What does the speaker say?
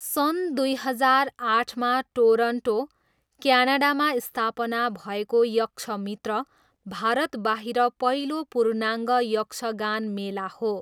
सन् दुई हजार आठमा टोरन्टो, क्यानडामा स्थापना भएको यक्षमित्र, भारतबाहिर पहिलो पूर्णाङ्ग यक्षगान मेला हो।